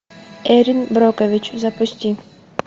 эрин брокович запусти